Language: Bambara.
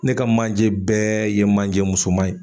Ne ka manje bɛɛ ye manje musoman ye.